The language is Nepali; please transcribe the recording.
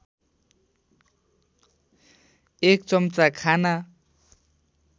एक चम्चा खाना